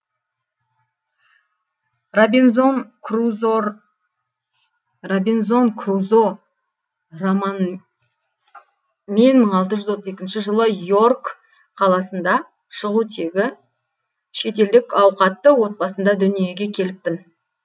робинзон крузо роман мен мың алты жүз отыз екінші жылы и орк қаласында шығу тегі шетелдік ауқатты отбасында дүниеге келіппін